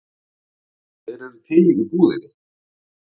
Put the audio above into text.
Þeir eru til í búðinni.